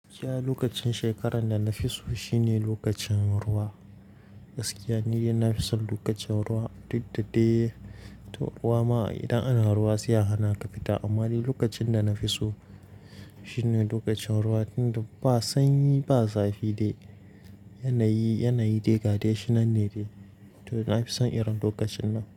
Gaskiya lokacin shekarar da na fi so shine lokacin ruwa. Gaskiya ni dai na fi son lokacin ruwa duk da dai to ruwa ma idan ana ruwa sai yahana ka fita. Amma dai lokacin da na fi so shine lokacin ruwa tunda ba sanyi ba zafi dai yanayi, yanayi da gade shi nan ne dai to na fi son irin lokacin nan.